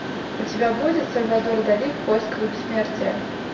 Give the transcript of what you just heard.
у тебя будет сальвадор дали в поисках бессмертия